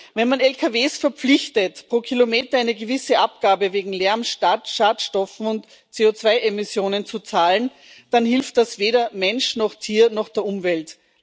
Wenn man Lkw verpflichtet, pro Kilometer eine gewisse Abgabe wegen Lärms, Schadstoffen und CO2 Emissionen zu zahlen, dann hilft das weder Mensch noch Tier noch der Umwelt.